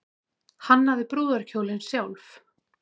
Hannaði brúðarkjólinn sjálf